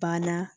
Bada